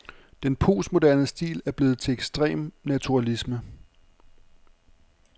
Den postmoderne stil er blevet til ekstrem naturalisme.